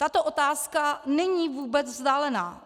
Tato otázka není vůbec vzdálená.